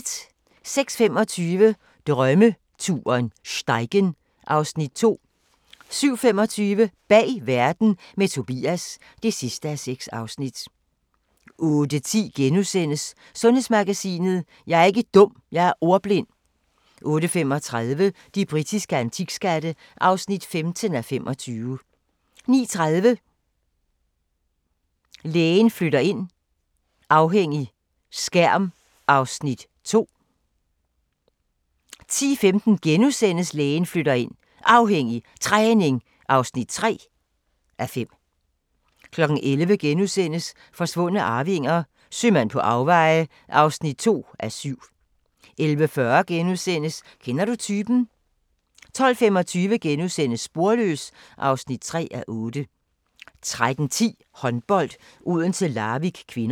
06:25: Drømmeturen - Steigen (Afs. 2) 07:25: Bag verden – med Tobias (6:6) 08:10: Sundhedsmagasinet: Jeg er ikke dum – jeg er ordblind * 08:35: De britiske antikskatte (15:25) 09:30: Lægen flytter ind – afhængig – skærm (2:5) 10:15: Lægen flytter ind – Afhængig – Træning (3:5)* 11:00: Forsvundne arvinger: Sømand på afveje (2:7)* 11:40: Kender du typen? * 12:25: Sporløs (3:8)* 13:10: Håndbold: Odense-Larvik (k)